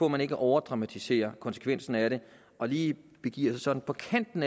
at man ikke overdramatisere konsekvensen af det og lige begiver sig sådan på kanten